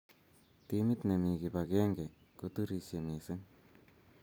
Timit ne mii kibakenge ko turishe mising.